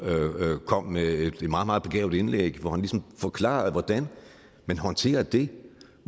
kom med et meget meget begavet indlæg hvor han forklarede hvordan man håndterer det